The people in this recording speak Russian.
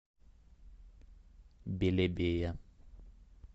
белебея